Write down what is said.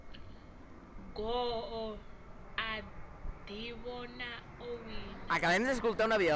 goo a ḓivhona o wina